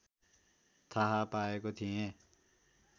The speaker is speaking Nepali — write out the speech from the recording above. थाहा पाएको थिएँ